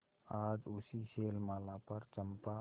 आज उसी शैलमाला पर चंपा